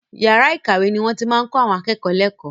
Yàrá ìkàwé ni wọ́n ti máa ń kọ àwọn akẹ́kọ̀ọ́ lẹ́kọ̀ọ́.